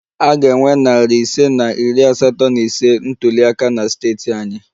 A ga-enwe narị ise na iri asatọ na ise ntuli aka na steeti anyị